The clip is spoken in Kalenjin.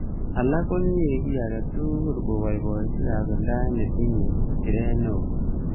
Alak konyei kiy age tugul koboiboichi kasuldaetab nekotinyei siret neo